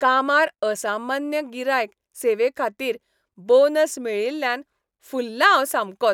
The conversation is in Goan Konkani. कामार असामान्य गिरायक सेवेखातीर बोनस मेळिल्ल्यान फुललां हांव सामकोच.